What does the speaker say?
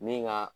Ni ka